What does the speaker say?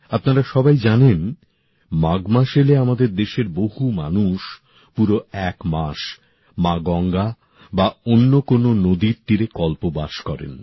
আপনারা সবাই জানেন মাঘ মাস এলে আমাদের দেশের বহু মানুষ পুরো এক মাস মা গঙ্গা বা অন্য কোনও নদীর তীরে কল্পবাস করেন